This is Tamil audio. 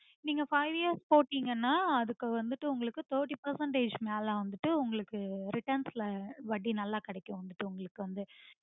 நீங்க five years போட்டிங்கனா அதுக்கு வந்துட்டு உங்களுக்கு thirty percentage மேல வந்துட்டு உங்களுக்கு returns ல வட்டி நல்ல கிடைக்கும் உங்களுக்கு வந்து